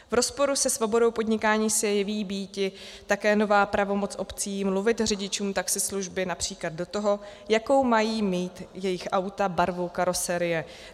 V rozporu se svobodou podnikání se jeví býti také nová pravomoc obcí mluvit řidičům taxislužby například do toho, jakou mají mít jejich auta barvu karosérie.